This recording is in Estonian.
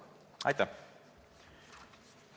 Aitäh!